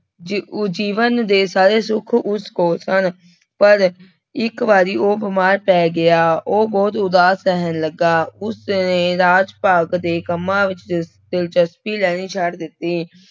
ਜ ਜੀਵਨ ਦੇ ਸਾਰੇ ਸੁੱਖ ਉਸ ਕੋਲ ਸਨ ਪਰ ਇੱਕ ਵਾਰੀ ਉਹ ਬਿਮਾਰ ਪੈ ਗਿਆ, ਉਹ ਬਹੁਤ ਉਦਾਸ ਰਹਿਣ ਲੱਗਾ, ਉਸਨੇ ਰਾਜ ਭਾਗ ਦੇ ਕੰਮਾਂ ਵਿੱਚ ਦਿ ਦਿਲਚਸਪੀ ਲੈਣੀ ਛੱਡ ਦਿੱਤੀ।